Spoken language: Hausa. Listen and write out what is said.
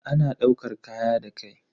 Ana daukar kaya da kai.